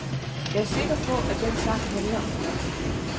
Jeg er sikker på, at den sang handler om mig.